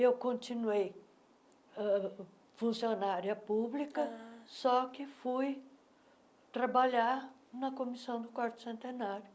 Eu continuei ãh funcionária pública, só que fui trabalhar na Comissão do Quarto Centenário.